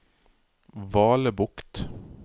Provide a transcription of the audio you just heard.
Valebukt